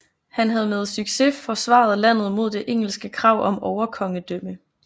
Han havde med succes forsvaret landet mod det engelske krav om overkongedømme